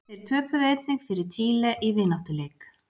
Þeir töpuðu einnig fyrir Chile í vináttuleik.